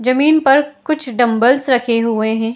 जमीन पर कुछ डम्बल्स रखे हुए हैं।